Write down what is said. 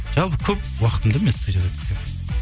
жалпы көп уақытымды мен